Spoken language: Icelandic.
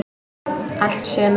Allt sumar